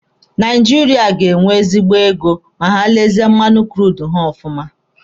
Naijiria ga-enwe ezigbo ego ma ha lezie mmanụ kurudu ha ọfụma.